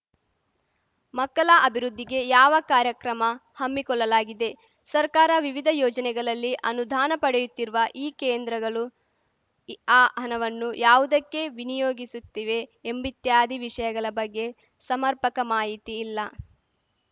ಮಕ್ಕಲ ಅಭಿವೃದ್ಧಿಗೆ ಯಾವ ಕಾರ್ಯಕ್ರಮ ಹಮ್ಮಿಕೊಲ್ಲಲಾಗಿದೆ ಸರ್ಕಾರ ವಿವಿಧ ಯೋಜನೆಗಲಲ್ಲಿ ಅನುದಾನ ಪಡೆಯುತ್ತಿರುವ ಈ ಕೇಂದ್ರಗಲು ಆ ಹಣವನ್ನು ಯಾವುದಕ್ಕೆ ವಿನಿಯೋಗಿಸುತ್ತಿವೆ ಎಂಬಿತ್ಯಾದಿ ವಿಷಯಗಲ ಬಗ್ಗೆ ಸಮರ್ಪಕ ಮಾಹಿತಿ ಇಲ್ಲ